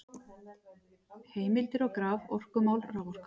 Heimildir og graf: Orkumál- Raforka.